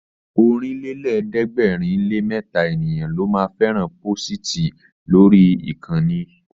Ọ̀rìnlélẹ̀ẹ́dẹ́gbèrinlémẹta ènìyàn ló ma fẹ́ràn pósìtì lórí ìkànnì